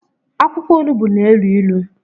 akwụkwọ onugbu n'ilu ilu.